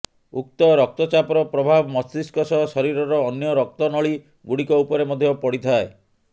ଉଚ୍ଚ ରକ୍ତଚାପର ପ୍ରଭାବ ମସ୍ତିଷ୍କ ସହ ଶରୀରର ଅନ୍ୟ ରକ୍ତନଳୀଗୁଡ଼ିକ ଉପରେ ମଧ୍ୟ ପଡ଼ିଥାଏ